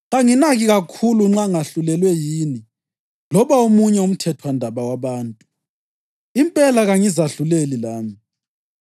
Kanginaki kakhulu nxa ngahlulelwe yini loba omunye umthethwandaba wabantu; impela, kangizahluleli lami.